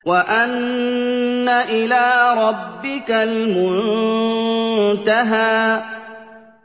وَأَنَّ إِلَىٰ رَبِّكَ الْمُنتَهَىٰ